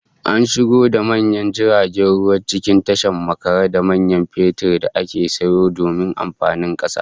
An shigo da manyan jiragen ruwa cikin tasha makare da man fetur da aka sayo domin amfanin kasa